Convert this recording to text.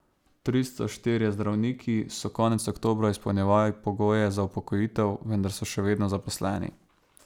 Tristo štirje zdravniki so konec oktobra izpolnjevali pogoje za upokojitev, vendar so še vedno zaposleni.